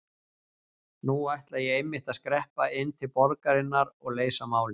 Nú ætla ég einmitt að skreppa inn til borgarinnar og leysa málin.